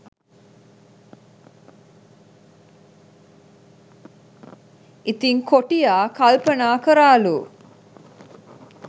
ඉතිං කොටියා කල්පනා කරාලු